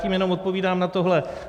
Tím jenom odpovídám na tohle.